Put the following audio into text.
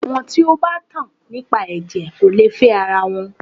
Àwọn tí o bá tan nípa ẹ̀jẹ̀ kò lè fẹ ara wọn.